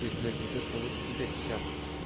то есть блять вот то что вот у тебя сейчас